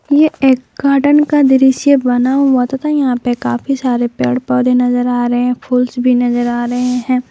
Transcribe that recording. ये एक गार्डन का दृश्य बना हुआ तथा यहां पे काफी सारे पेड़ पौधे नजर आ रहे हैं फूल्स भी नजर आ रहे हैं।